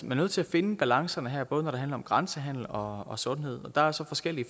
nødt til at finde balancerne her både når det handler om grænsehandel og sundhed og der er så forskellige